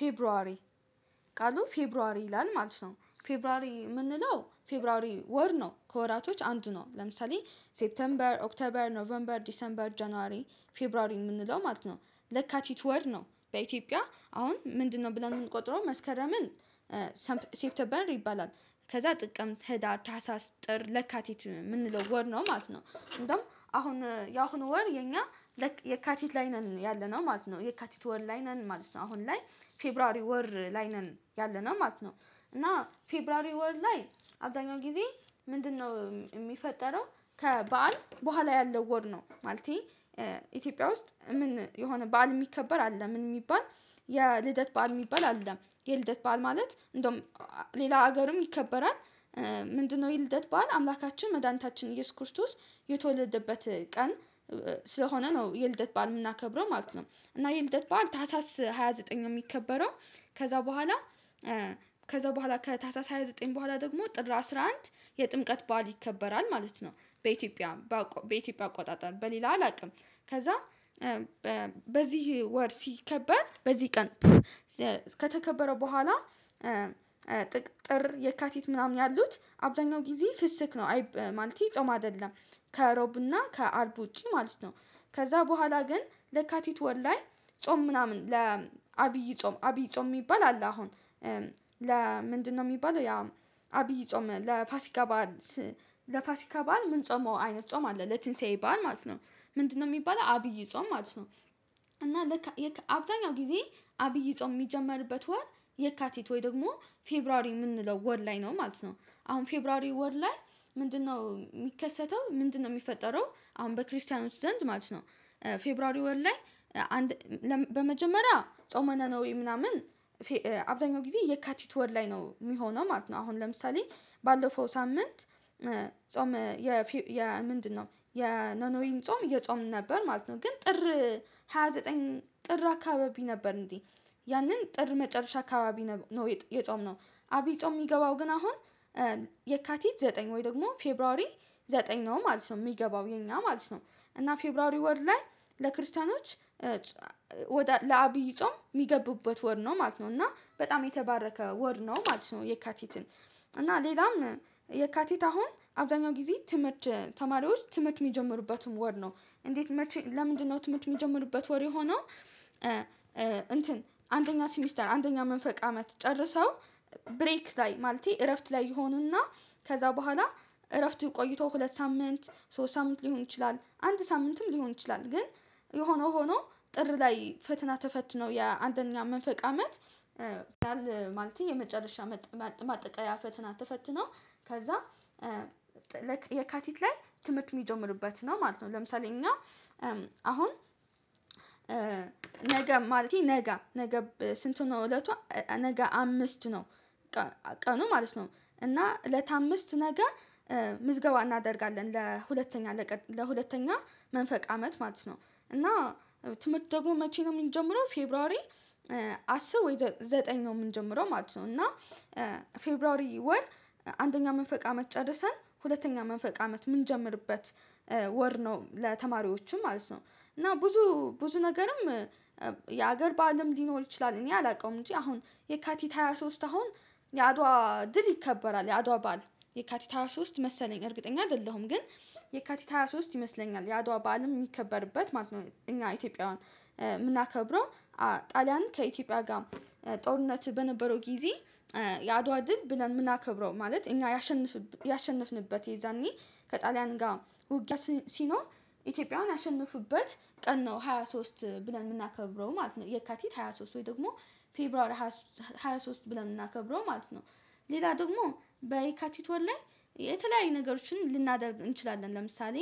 ፌብሩዋሪ ቃሉ ፌብሩዋሪ ይላል ማለት ነው ፌብሩዋሪ የምንለው ፌብሩዋሪ ወር ነው ከወራቶች አንዱ ነው። ለምሳሌ ሴፕተምበር ኦክተበር ኖቬምበር ዲሴምበር ጀንዋሪ ፌብሩዋሪ የምንለው ማለት ነው ለካቲት ወር ነው። በኢትዮጵያ አሁን ምንድነው ብለን የምንቆጥረው መስከረምን? ሰፕተምበር ይባላል ከዛ ጥቅምት ህዳር ታህሳስ ጥር ለካቲት የምንለው ወር ነው ማለት ነው። እንደውም አሁን የአሁኑ ወር የኛ የካቲት ላይ ነን ያለነው ማለት ነው። የካቲት ወር ላይ ነን ማለት ነው። አሁን ላይ ፌብሩዋሪ ወር ላይ ነን ያለነው ማለት ነው። እና ፌብሩዋሪ ወር ላይ አብዛኛው ጊዜ ምንድነው የሚፈጠረው? ከበዓል በኋላ ያለው ወር ነው ማለቴ። ኢትዮጵያ ውስጥ ምን የሆነ በዓል የሚከበር አለ? ምን የሚባል የልደት በዓል የሚባል አለ። የልደት በዓል ማለት እንደውም ሌላ ሀገርም ይከበራል። ምንድነው ይልደት በዓል አምላካችን መድኃኒታችን ኢየሱስ ክርስቶስ የተወለደበት ቀን። ስለሆነ ነው የልደት በዓል የምናከብረው ማለት ነው። እና የልደት በዓል ታህሳስ ሃያ ዘጠኝ ነው የሚከበረው። ከዛ በኋላ ከዛ በኋላ ከታህሳስ ሃያ ዘጠኝ በኋላ ደግሞ ጥር አስራ አንድ የጥምቀት በዓል ይከበራል ማለት ነው። በኢትዮጵያ በኢትዮጵያ አቆጣጠር በሌላ አላውቅም። ከዛ በዚህ ወር ሲከበር በዚህ ቀን። ከተከበረ በኋላ ጥቅ ጥር የካቲት ምናምን ያሉት አብዛኛው ጊዜ ፍስክ ነው አይ ማለቴ ጾም አይደለም። ከሮብና ከአርብ ውጪ ማለት ነው። ከዛ በኋላ ግን ለካቲት ወር ላይ ጾም ምናምን ለአብይ ጾም አብይ ጾም የሚባል አለ። አሁን ለምንድነው የሚባለው ያ? አብይ ጾም ለፋሲካ በዓል ለፋሲካ በዓል የምንጾመው አይነት ጾም አለ ለትንሳኤ በዓል ማለት ነው። ምንድነው የሚባለው አብይ ጾም ማለት ነው። እና ለካ አብዛኛው ጊዜ አብይ ጾም የሚጀመርበት ወር የካቲት ወይ ደግሞ ፌብሩዋሪ የምንለው ወር ላይ ነው ማለት ነው። አሁን ፌብሩዋሪ ወር ላይ ምንድነው የሚከሰተው ምንድነው የሚፈጠረው አሁን በክርስቲያኖች ዘንድ ማለት ነው። ፌብሩዋሪ ወር ላይ አንድ በመጀመሪያ ጾመ ነነዌ ምናምን። አብዛኛው ጊዜ የካቲት ወር ላይ ነው የሚሆነው ማለት ነው። አሁን ለምሳሌ ባለፈው ሳምንት ጾም የ ምንድነው የኖኖዌን ጾም እየጾምን ነበር ማለት ነው። ግን ጥር ሃያ ዘጠኝ ጥር አካባቢ ነበር እንዴ ያንን ጥር መጨረሻ አካባቢ ነው የጾምነው። አቢይ ጾም የሚገባው ግን አሁን የካቲት ዘጠኝ ወይ ደግሞ ፌብሩዋሪ ዘጠኝ ነው ማለት ነው የሚገባው የኛ ማለት ነው። እና ፌብሩዋሪ ወር ላይ ለክርስቲያኖች ወደ ለአብይ ጾም የሚገቡበት ወር ነው ማለት ነው። እና በጣም የተባረከ ወር ነው ማለት ነው። የካቲትን እና ሌላም የካቲት አሁን አብዛኛው ጊዜ ትምህርት ተማሪዎች ትምህርት የሚጀምሩበትም ወር ነው። እንዴት መቼ ለምንድነው ትምህርት የሚጀምሩበት ወር የሆነው? እንትን አንደኛ ሲሚስተር አንደኛ መንፈቅ አመት ጨርሰው ብሬክ ላይ ማለቴ እረፍት ላይ ይሆኑና። ከዛ በኋላ እረፍት ቆይተው ሁለት ሳምንት ሶስት ሳምንት ሊሆን ይችላል አንድ ሳምንትም ሊሆን ይችላል። ግን የሆነው ሆኖ ጥር ላይ ፈተና ተፈትነው የአንደኛ መንፈቅ አመት ማለቴ የመጨረሻ ማጠቃለያ ፈተና ተፈትነው። ከዛ የካቲት ላይ ትምህርት የሚጀምሩበት ነው ማለት ነው። ለምሳሌ እኛ አሁን ነገ ማለቴ ነገ ስንቱ ነው እለቷ ነገ አምስት ነው። ቀኑ ማለት ነው እና እለት አምስት ነገ ምዝገባ እናደርጋለን ለሁለተኛ ለሁለተኛ መንፈቅ አመት ማለት ነው። እና ደግሞ መቼ ነው የምንጀምረው ፌብሩዋሪ አስር ወይም ዘጠኝ ነው የምንጀምረው ማለት ነው። እና ፌብሩዋሪ ወር አንደኛ መንፈቅ አመት ጨርሰን ሁለተኛ መንፈቅ አመት የምንጀምርበት ወር ነው ለተማሪዎቹም ማለት ነው። እና ብዙ ብዙ ነገርም የሀገር በዓልም ሊኖር ይችላል እኔ አላውቀውም። እንጂ አሁን የካቲት ሃያ ሶስት አሁን የአድዋ ድል ይከበራል የአድዋ በዓል የካቲት ሃያ ሶስት መሰለኝ እርግጠኛ አይደለሁም ግን። የካቲት ሃያ ሶስት ይመስለኛል የአድዋ በዓልም የሚከበርበት ማለት ነው። እኛ ኢትዮጵያውያን የምናከብረው ጣሊያን ከኢትዮጵያ ጋር ጦርነት በነበረው ጊዜ። የአድዋ ድል ብለን የምናከብረው ማለት እኛ ያሸነፍንበት የዛኔ ከጣሊያን ጋር ውጊያ ሲኖር ኢትዮጵያውያን ያሸነፉበት ቀን ነው ሃያ ሶስት ብለን የምናከብረው ማለት ነው። የካቲት ሃያ ሶስት ወይ ደግሞ ፌብሯሪ ሃያ ሶ ሃያ ሶስት ብለን የምናከብረው ማለት። ሌላ ደግሞ በየካቲት ወር ላይ የተለያዩ ነገሮችን ልናደርግ እንችላለን። ለምሳሌ